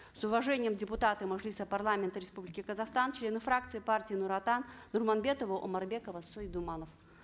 с уважением депутаты мажилиса парламента республики казахстан члены фракции партии нур отан нурманбетова омарбекова цой думанов